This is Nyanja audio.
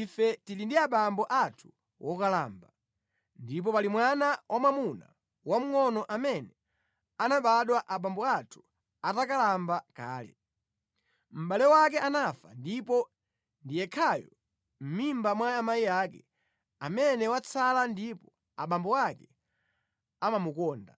ife tili ndi abambo athu wokalamba, ndipo pali mwana wamwamuna wamngʼono amene anabadwa abambo athu atakalamba kale. Mʼbale wake anafa ndipo ndi yekhayo mʼmimba mwa amayi ake amene watsala ndipo abambo ake amamukonda.’